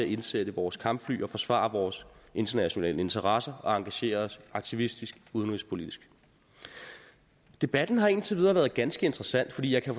indsætte vores kampfly og forsvare vores internationale interesser og engagere os aktivistisk udenrigspolitisk debatten har indtil videre været ganske interessant for jeg kan